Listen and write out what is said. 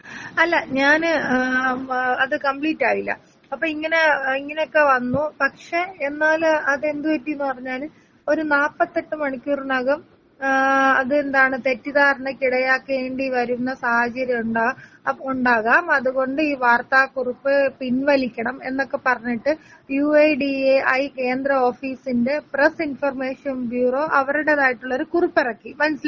അല്ല ഞാന് ഏ അത് കംമ്പ്ളിറ്റായില്ല അപ്പൊ ഇങ്ങനെ ഇങനെയൊക്കെ വന്നു പക്ഷെ എന്നാല് അതെന്തു പറ്റിന്നു പറഞ്ഞാല് ഒരു നാപ്പത്തെട്ട് മണിക്കൂറിനകം ഏ അതെന്താണ് തെറ്റിധാരണക്ക് ഇടയാക്കേണ്ടി വരുന്ന സാഹചര്യം ഉണ്ട് ഉണ്ടാകാം അത് കൊണ്ട് ഈ വാർത്താ കുറിപ്പ് പിന് വലിക്കണം എന്നൊക്കെ പറഞ്ഞിട്ട് U I D A I കേന്ത്ര ഓഫീസിന്റെ പ്രസ് ഇൻഫർമേഷൻ ബ്യൊറൊ അവരുടെതായിട്ടുള്ള ഒരു കുറിപ്പെറുക്കി മാനസ്സിലായൊ?